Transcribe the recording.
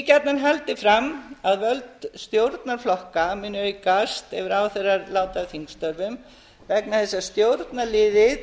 gjarnan haldið fram að völd stjórnarflokka muni aukast ef ráðherrar láti af þingstörfum vegna þess að stjórnarliðið